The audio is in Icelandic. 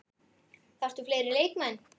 Þarftu fleiri leikmenn?